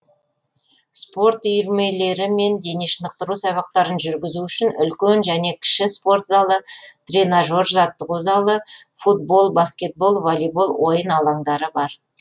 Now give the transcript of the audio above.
спорттық үйірмелер мен дене шынықтыру сабақтарын жүргізу үшін үлкен және кіші спорт залы тренажерлық жаттығу залы футбол баскетбол волейбол ойын алаңдары бар